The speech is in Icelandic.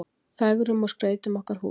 Fegrum og skreytum okkar hús.